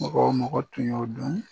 Mɔgɔ o mɔgɔ tun y' o don